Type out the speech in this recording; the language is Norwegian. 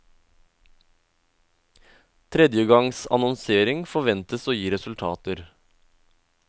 Tredje gangs annonsering forventes å gi resultater.